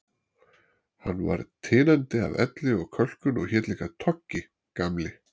Hann var tinandi af elli og kölkun og hét líka Toggi, Gamli